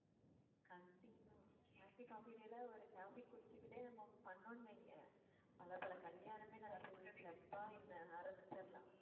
கண்டிப்பா ஒரு coffee குடிச்சுக்கிட்டே நம்ம பண்ணோம்னு வைங்க பல பல கல்யாணமே நடக்குது club ஆ என்ன ஆரம்பிச்சிடலாம்